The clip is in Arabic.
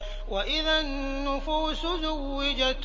وَإِذَا النُّفُوسُ زُوِّجَتْ